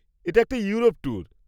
এটা একটা Europe tour.